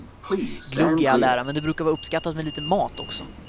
Glögg i all ära, men det brukar vara uppskattat med lite mat också.